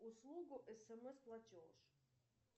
услугу смс платеж